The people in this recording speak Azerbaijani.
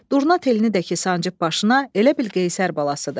Durna telini də ki sancıb başına, elə bil Qeysər balasıdır.